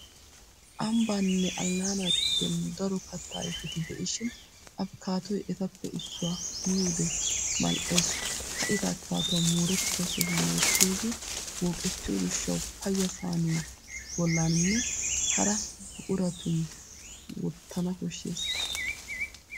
Ambbaaninnee allaanaa giddon daro katta ayfeti de'ishin afkaatoy etappe issuwaa miyode mal'es. Ka'ida afkaatuwa moorettida sohuwan wottiyooge wooqettiyo gishshawu payya sayiniya bollaninne hara buquratin wottana koshshes.